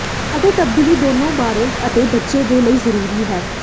ਅਤੇ ਤਬਦੀਲੀ ਦੋਨੋ ਬਾਲਗ ਅਤੇ ਬੱਚੇ ਦੇ ਲਈ ਜ਼ਰੂਰੀ ਹੈ